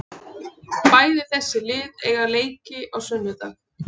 Bæði þessi lið eiga leiki á sunnudag.